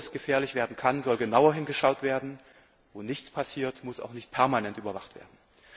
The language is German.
Wo es gefährlich werden kann, soll genauer hingeschaut werden, wo nichts passiert, muss auch nicht permanent überwacht werden.